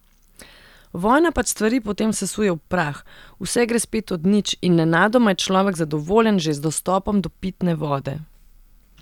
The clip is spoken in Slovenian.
Vojna pač stvari potem sesuje v prah, vse gre spet od nič in nenadoma je človek zadovoljen že z dostopom do pitne vode.